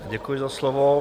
Děkuji za slovo.